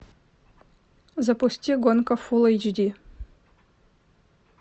запусти гонка фул эйч ди